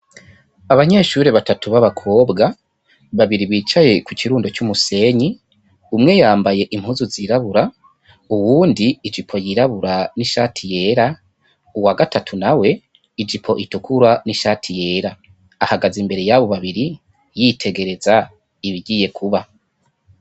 Abanyeshuri batatu ba bakobwa babiri bicaye kukirundo c'umusenyi, umwe yambaye impuzu zirabura, uwundi ijipo yirabura n'ishati yera uwa gatatu nawe ijipo itukura n'ishati yera ahagaze imbere yabo babiri yitegereza ibigiye kuba.